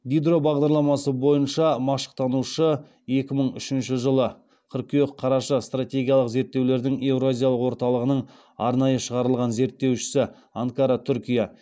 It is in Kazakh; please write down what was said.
дидро бағдарламасы бойынша машықтанушы екі мың үшінші жылы стратегиялық зерттеулердің еуразиялық орталығының арнайы шақырылған зерттеушісі